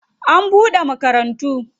An bude makarantu.